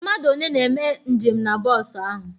Mmadụ one na-eme njem na bọọsu ahụ?